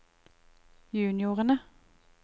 juniorene